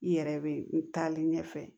I yɛrɛ be n taalen ɲɛfɛ